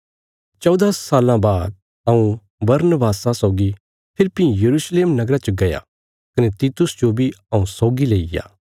चौदा साल्लां बाद हऊँ बरनबासा सौगी फेरी भीं यरूशलेम नगरा च गया कने तीतुस जो बी हऊँ सौगी लेईग्या